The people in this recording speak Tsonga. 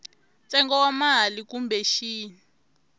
ntsengo wa mali kumbe xin